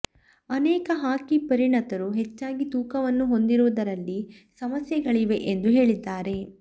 ಅನೇಕ ಹಾಕಿ ಪರಿಣತರು ಹೆಚ್ಚಾಗಿ ತೂಕವನ್ನು ಹೊಂದಿರುವುದರಲ್ಲಿ ಸಮಸ್ಯೆಗಳಿವೆ ಎಂದು ಹೇಳಿದ್ದಾರೆ